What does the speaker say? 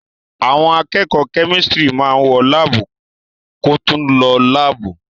Àwọn akẹ́kọ̀ọ́ kẹ́mísítìrì máa wọ láábú koòtù lọ láàbù.